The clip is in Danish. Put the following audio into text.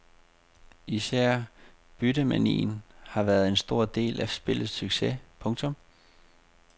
Især byttemanien har været en stor del af spillets succes. punktum